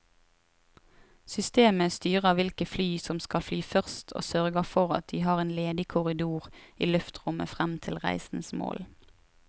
Systemet styrer hvilke fly som skal fly først og sørger for at de har en ledig korridor i luftrommet frem til reisens mål.